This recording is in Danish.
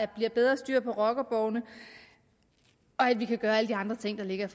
bliver bedre styr på rockerborgene og at vi kan gøre alle de andre ting der ligger